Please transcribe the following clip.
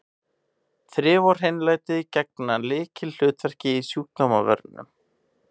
Þrif og hreinlæti gegna lykilhlutverki í sjúkdómavörnum.